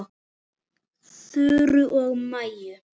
Þuru og Maju.